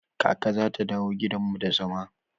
Kaka zata dawo gidan mu da zama.